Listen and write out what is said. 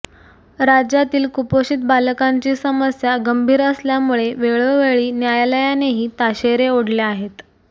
राज्यातील कुपोषित बालकांची समस्या गंभीर असल्यामुळे वेळोवेळी न्यायालयानेही ताशेरे ओढले आहेत